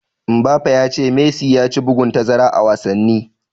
Mbappe ya ce Messi ya ci bugun tazara a wasanni.